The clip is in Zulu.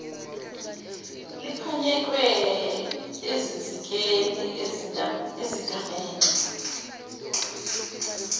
liphanyekwe ezinsikeni ezigamegxe